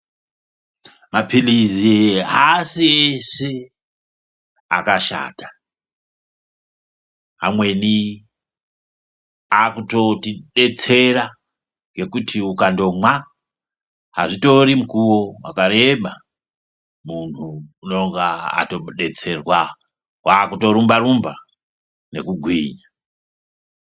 Mapilizi aasi ese akashata amweni akutotidetsera ngekuti ukandomwa azvitori mukuwo wakareba muntu unenge atodetserwa kwakutorumba rumba ngekugwinya.